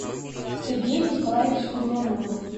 сергеем николаевичем белоноговым